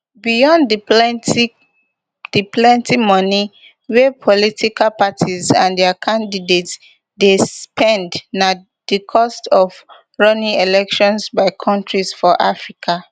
beyond di plenti di plenti moni wia political parties and dia candidates dey spend na di cost of running elections by kontris for africa